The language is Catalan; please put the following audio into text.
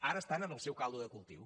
ara estan en el seu caldo de cultiu